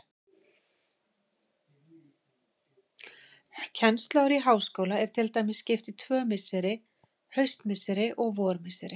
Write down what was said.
Kennsluári í háskóla er til dæmis skipt í tvö misseri, haustmisseri og vormisseri.